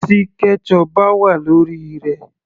Tí ketchup bá wà lórí rẹ̀